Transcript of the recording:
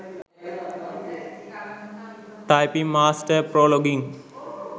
typing master pro login